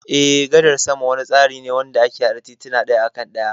Eh, gadar sama wani tsari ne wanda ake hada tituna daya akan daya.